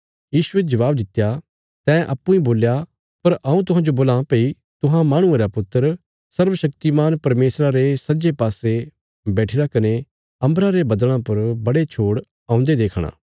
यीशुये जबाब दित्या तैं अप्पूँ इ बोल्या पर हऊँ तुहांजो बोलां भई तुहां माहणुये रा पुत्र सर्वशक्तिमान परमेशरा रे सज्जे पासे बैठिरा कने अम्बरा रे बद्दल़ां पर बड़े छोड़ औन्दे देखणा